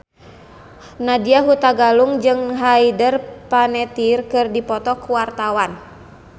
Nadya Hutagalung jeung Hayden Panettiere keur dipoto ku wartawan